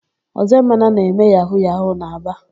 Ọzọemena na-eme yahu-yahu n'Aba.